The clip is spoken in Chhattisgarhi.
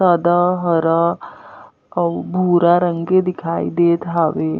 सादा हरा अउ भूरा रंग के दिखाई देत हावे।